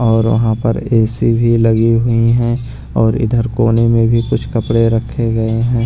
और वहाँ पर ए_सी भी लगी हुई हैं और इधर कोने में भी कुछ कपड़े रखे गए हैं।